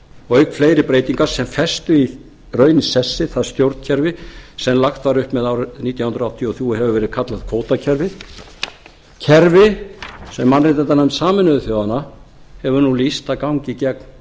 og auk fleiri breytinga sem festu í raun í sessi það stjórnkerfi sem lagt var upp með árið nítján hundruð áttatíu og þrjú og hefur verið kallað kvótakerfi kerfi sem mannréttindanefnd sameinuðu þjóðanna hefur nú lýst að gangi gegn